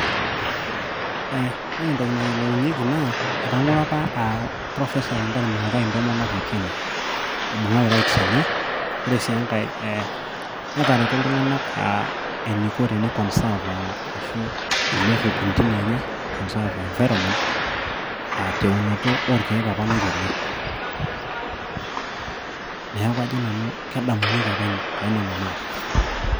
Ore entoki nayiolounyeki naa etengoro apa Professor Wangare Maathai intomonok ekenya, eibung'aki rights enye. Ore sii enkae netareto eneiko teneiconserve ashu tenerip intimi enye conserve environment teunoto apa oolkeek apa naiterua. Neaku kajo nanu kedamunyeki too nene naataasa.